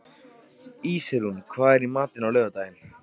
Ísrún, hvað er í matinn á laugardaginn?